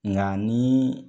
Nga ni